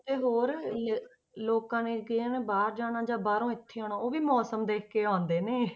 ਤੇ ਹੋਰ ਲ~ ਲੋਕਾਂ ਨੇ ਕਿ ਹਨਾ ਬਾਹਰ ਜਾਣਾ ਜਾਂ ਬਾਹਰੋਂ ਇੱਥੇ ਆਉਣਾ ਉਹ ਵੀ ਮੌਸਮ ਦੇਖਕੇ ਆਉਂਦੇ ਨੇ।